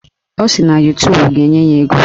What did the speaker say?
Ọ sị na Yutubu ga-enye ya ego.